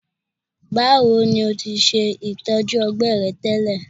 Bawo ni o ti ṣe itọju ọgbẹ rẹ tẹlẹ?